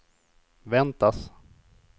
väntas